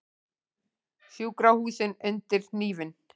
Sjúkrahúsin undir hnífinn